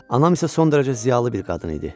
Anam isə son dərəcə ziyalı bir qadın idi.